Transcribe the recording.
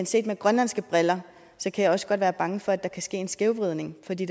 set med grønlandske briller kan jeg også godt være bange for at der kan ske en skævvridning for det